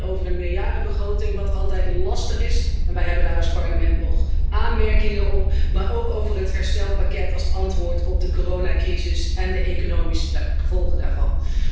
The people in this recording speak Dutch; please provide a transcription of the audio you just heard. Niet alleen over een meerjarenbegroting wat altijd lastig is, en wij hebben daar als Parlement nog aanmerkingen op maar ook over het herstelpakket als antwoord op de coronacrisis en de economische gevolgen daarvan.